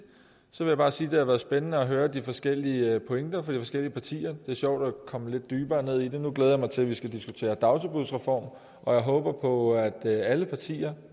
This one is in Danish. vil jeg bare sige at det været spændende at høre de forskellige pointer fra de forskellige partier det er sjovt at komme lidt dybere ned i det nu glæder jeg mig til at vi skal diskutere dagtilbudsreform og jeg håber på at alle partier